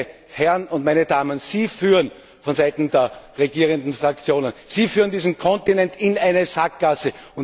Meine Herren und meine Damen vonseiten der regierenden Fraktionen, Sie führen diesen Kontinent in eine Sackgasse.